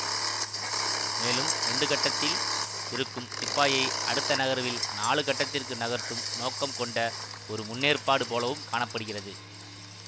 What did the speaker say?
மேலும் இரண்டு கட்டத்தில் இருக்கும் சிப்பாயை அடுத்த நகர்வில் நாலு கட்டத்திற்கு நகர்த்தும் நோக்கம் கொண்ட ஒரு முன்னேற்பாடு போலவும் காண படுகிறது